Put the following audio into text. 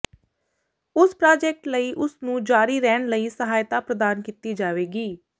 ਉਸ ਪ੍ਰਾਜੈਕਟ ਲਈ ਉਸ ਨੂੰ ਜਾਰੀ ਰਹਿਣ ਲਈ ਸਹਾਇਤਾ ਪ੍ਰਦਾਨ ਕੀਤੀ ਜਾਵੇਗੀ